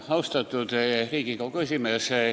Austatud Riigikogu esimees!